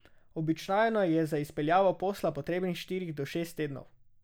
Običajno je za izpeljavo posla potrebnih štiri do šest tednov.